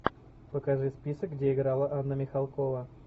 покажи список где играла анна михалкова